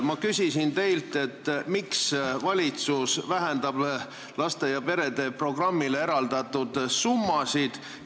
Ma küsisin teilt, miks valitsus vähendab laste ja perede programmile eraldatud summasid.